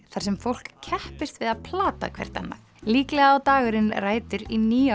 þar sem fólk keppist við að plata hvert annað líklega á dagurinn rætur í